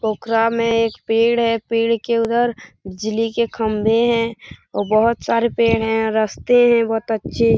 पोखरा में एक पेड़ है पेड़ के उधर बिजली के खंभे हैं और बहोत सारे पेड़ हैं रस्ते हैं बहुत अच्छे ।